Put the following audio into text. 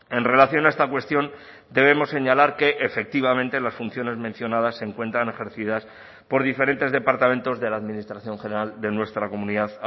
en relación a esta cuestión debemos señalar que efectivamente las funciones mencionadas se encuentran ejercidas por diferentes departamentos de la administración general de nuestra comunidad